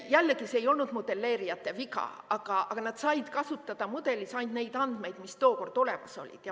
Jällegi, see ei olnud modelleerijate viga, nad said kasutada mudelis ainult neid andmeid, mis tookord olemas olid.